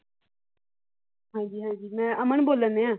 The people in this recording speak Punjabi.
ਹਾਂ ਹਾਂ ਜੀ, ਮੈਂ ਅਮਨ ਬੋਲਣਦਿਆਂ।